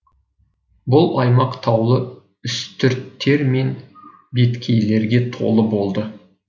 бұл аймақ таулы үстірттер мен беткейлерге толы болды